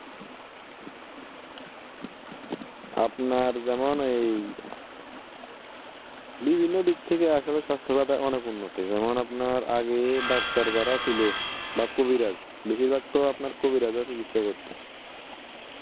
আপনার যেমন এই বিভিন্ন দিক থেকে আসলে স্বাস্থ্যখাত অনেক উন্নত। যেমন আপনার আগে ডাক্তার যারা ছিলো বা কবিরাজ বেশিরভাগ তো আপনার কবিরাজরা চিকিৎসা করতো